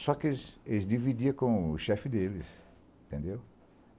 Só que eles eles dividiam com o chefe deles, entendeu?